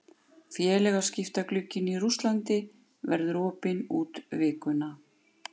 Félagaskiptaglugginn í Rússlandi verður opinn út vikuna.